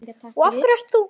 Af hverju ert þú.